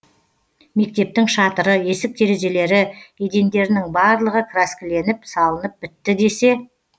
мектептің шатыры есік терезелері едендерінің барлығы краскіленіп салынып бітті десе